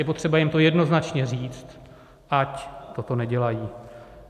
Je potřeba jim to jednoznačně říct, ať toto nedělají.